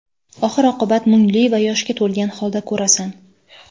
oxir-oqibat mungli va yoshga to‘lgan holda ko‘rasan.